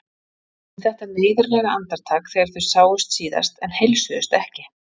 Um þetta neyðarlega andartak þegar þau sáust síðast en heilsuðust ekki.